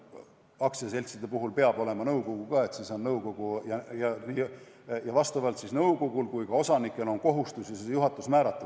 Aktsiaseltside puhul peab olema nõukogu samuti, siis on nii nõukogul kui ka osanikel kohustus juhatus määrata.